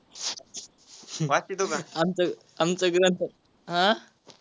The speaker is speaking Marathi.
आमच आमच ग्रंथ आ,